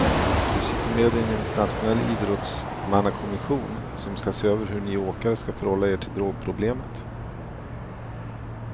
Du sitter med i en internationell idrottsmannakommission som ska se över hur ni åkare ska förhålla er till drogproblemet.